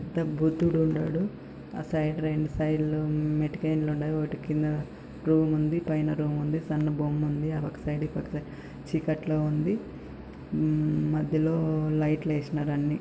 ఇక్కడ బుద్ధుడు ఉన్నాడు ఆ సైడ్ రెండు సైడ్లు ఓటి కింద రూమ్ ఉంది. పైన రూమ్ ఉంది సన్న బొమ్మ ఉంది అవ్వక సైడ్ ఇవ్వక సైడ్ చీకట్లో ఉంది ఉమ్ మధ్యలో లైట్లు ఏసినారు అన్ని.